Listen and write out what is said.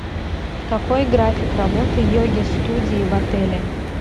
какой график работы йоги студии в отеле